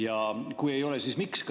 Ja kui ei ole, siis miks?